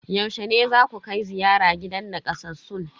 Yaushe ne zaku kai ziyara gidan nakasassun?